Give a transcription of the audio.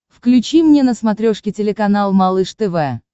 включи мне на смотрешке телеканал малыш тв